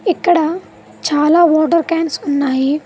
ఇక్కడ చాలా water cans ఉన్నాయి.